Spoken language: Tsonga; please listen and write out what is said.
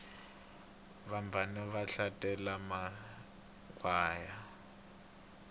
vabvana va hlalele makhwaya